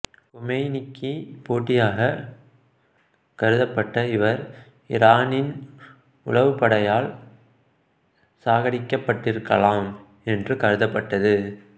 கோமெய்னிக்கு போட்டியாகக் கருதப்பட்ட இவர் ஈரானின் உளவுப்படையால் சாகடிக்கப்பட்டிருக்கலாம் என்று கருதப்பட்டது